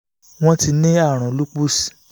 won ti ní àrùn lupus